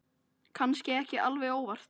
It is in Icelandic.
Kannski ekki alveg óvart.